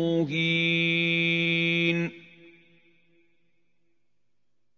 مُّهِينٌ